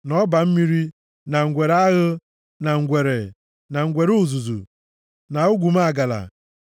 na ọba mmiri, + 11:30 Maọbụ, agụ ụlọ na ngwere aghụ, na ngwere, na ngwere uzuzu, na ogumagala.